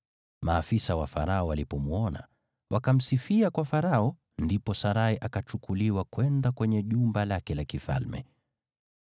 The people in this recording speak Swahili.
Maafisa wa Farao walipomwona, wakamsifia kwa Farao; ndipo Sarai akapelekwa kwa nyumba ya mfalme.